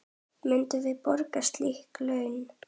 Myndum við borga slík laun?